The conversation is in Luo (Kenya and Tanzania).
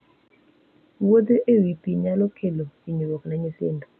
Wuotho e wi pe nyalo kelo hinyruok ne nyithindo.